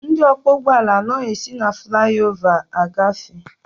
Ndị ọkwọ ụgbọala anaghị esi na flaị ova agafe.